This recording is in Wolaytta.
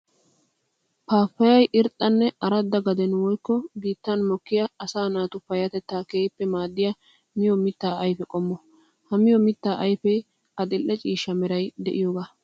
Paapayay irxxanne aradda gaden woykko biittan mokkiya asaa naatu payatetta keehippe maadiya miyo mitta ayfe qommo. Ha miyo mitta ayfe adli'e ciishsha meray de'iyooga.